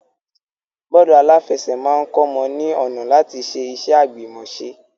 Bọ́ọ́lù aláfẹsẹ̀ máa kọ́mọ ní ọ̀nà láti ṣe iṣẹ́ àgbìmọ̀ṣe.